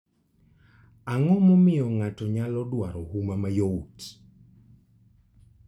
Ang'o momiyo ng'ato nyalo dwaro huma mayot?